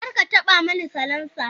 Kar ka taɓa mani salansa!